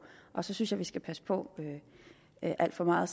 og så synes jeg at vi skal passe på med alt for meget